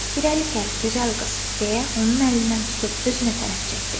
Və irəli gəl, gözəl qız, deyə onun əlindən tutub özünə tərəf çəkdi.